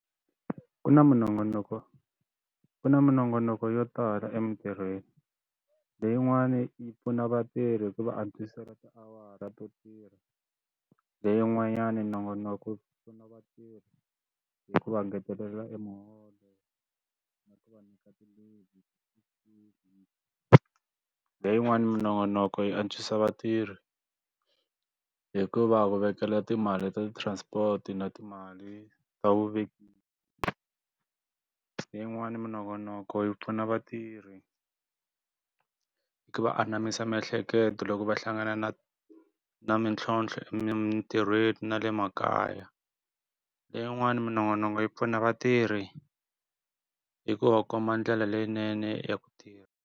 Ku na minongonoko ku na minongonoko yo tala emintirhweni, leyin'wani yi pfuna vatirhi ku va antswisela tiawara to tirha, leyin'wanyana minongonoko ku pfuna vatirhi hi ku va ngetelela emuholo na ku va nyika ti-leave . Leyiwani minongonoko yi antswisa vatirhi, hi ku va ku vekela timali ta transport-i na timali ta vuvekisi. Leyiwani minongonoko yi pfuna vatirhi hi ku va anamisa miehleketo loko va hlangana na na mintlhontlho emintirhweni na le makaya, leyin'wani minongonoko yi pfuna vatirhi hi ku va komba ndlela leyinene ya ku tirha.